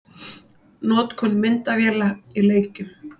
Notkun myndavéla í leikjum?